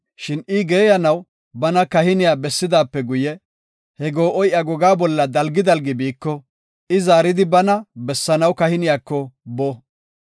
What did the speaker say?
Shin I geeyanaw bana kahiniya bessidaape guye, he goo7oy iya gogaa bolla dalgi dalgi biiko I zaaridi bana bessanaw kahiniyako boo.